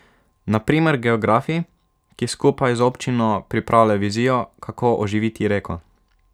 Na primer geografi, ki skupaj z občino pripravljajo vizijo, kako oživiti reko.